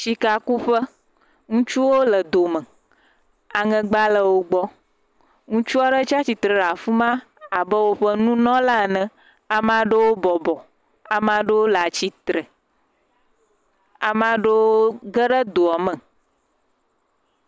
Sikakuƒe, Ŋutsuwo le dome, aŋegba le wogbɔ, ŋutsu aɖe tsi atsitre ɖe afi ma abe wo nunɔla ene ame aɖewo bɔbɔ, ame aɖewo le atsitre ame aɖewo ge ɖe do me.